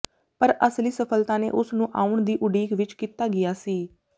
ਪਰ ਅਸਲੀ ਸਫਲਤਾ ਨੇ ਉਸ ਨੂੰ ਆਉਣ ਦੀ ਉਡੀਕ ਵਿੱਚ ਕੀਤਾ ਗਿਆ ਸੀ